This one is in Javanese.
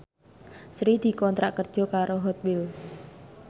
Sri dikontrak kerja karo Hot Wheels